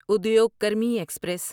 Udyog Karmi express